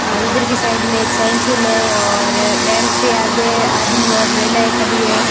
और इधर की साइड में एक साइकिल है और बैंक के आगे आदमी और महिलाएं खड़ी है।